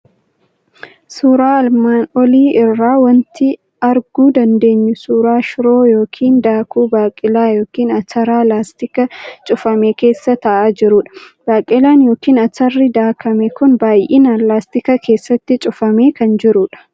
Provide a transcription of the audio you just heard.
Suuraa armaan olii irraa wanti arguu dandeenyu suuraa shiroo yookiin daakuu baaqelaa yookiin ataraa laastika cufame keessa taa'aa jirudha. Baaqelaan yookiin atarri daakame kun baay'inaan laastika keessatti cufamee kan jirudha.